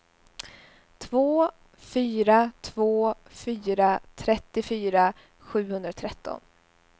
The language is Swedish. två fyra två fyra trettiofyra sjuhundratretton